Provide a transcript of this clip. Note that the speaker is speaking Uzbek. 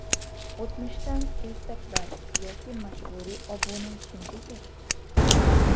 O‘tmishdan ertaklar yoki majburiy obuna kimga kerak?.